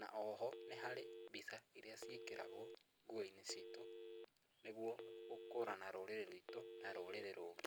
na oho nĩ harĩ mbica iria ciĩkagĩrwo nguo-inĩ citũ, nĩguo gũkũrana rũrĩrĩ rwitũ na rũrĩrĩ rũngĩ.